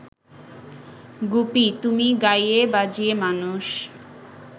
গুপি, তুমি গাইয়ে বাজিয়ে মানুষ